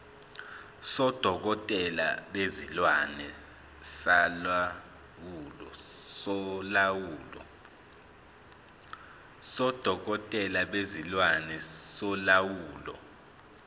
sodokotela bezilwane solawulo